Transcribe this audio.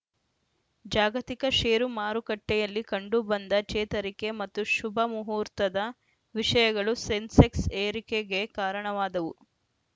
ಜಾಗತಿಕ ಷೇರು ಮಾರುಕಟ್ಟೆಯಲ್ಲಿ ಕಂಡುಬಂದ ಚೇತರಿಕೆ ಮತ್ತು ಶುಭ ಮುಹೂರ್ತದ ವಿಷಯಗಳು ಸೆನ್ಸೆಕ್ಸ್‌ ಏರಿಕೆಗೆ ಕಾರಣವಾದವು